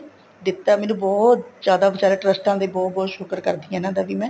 ਦਿੱਤਾ ਮੈਨੂੰ ਬਹੁਤ ਜਿਆਦਾ ਬੀਚਾਰੇ ਟਰਸ਼ਟਾਂ ਦੇ ਬਹੁਤ ਬਹੁਤ ਸ਼ੁਕਰ ਕਰਦੀ ਹਾਂ ਇਹਨਾ ਦਾ ਵੀ ਮੈਂ